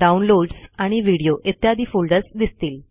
downloads आणि video इत्यादि folders दिसतील